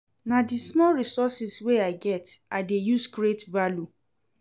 Na di small resources wey I get I dey use create value.